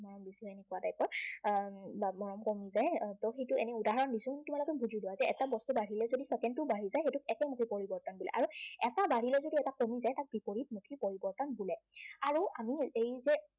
মৰম বেছি হয় এনেকুৱা type ৰ আহ মৰম কমি যায়, মই সেইটো এনেই উদাহৰণ দিছো। তোমালোকে বুজি লোৱা যে এটা বস্তু বাঢ়িলে যদি second টোও বাঢ়ি যায়, সেইটোক একেমুখী পৰিৱৰ্তন বোলে। আৰু এটা বাঢ়িলে যদি এটা কমি যায় তাক বিপৰীতমুখী পৰিৱৰ্তন বুলি কয়। আৰু আমি এই যে